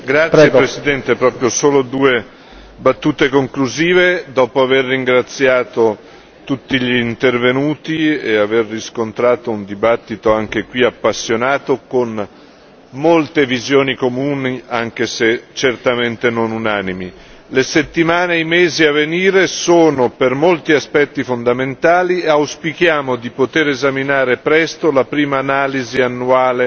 Signor Presidente, onorevoli colleghi, solo due battute conclusive, dopo aver ringraziato tutti gli intervenuti e aver riscontrato un dibattito anche qui appassionato, con molte visioni comuni anche se certamente non unanimi. Le settimane e i mesi a venire sono per molti aspetti fondamentali e auspichiamo di poter esaminare presto la prima analisi annuale